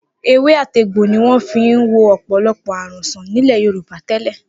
Ewé àtegbò ni wọ́n fi ń wo ọ̀pọ̀lọpọ̀ àrùn sàn nílẹ̀ Yorùbá tẹ́lẹ̀.